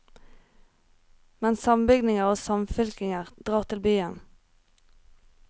Men sambygdinger og samfylkinger drar til byen.